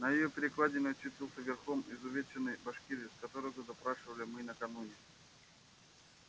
на её перекладине очутился верхом изувеченный башкирец которого допрашивали мы накануне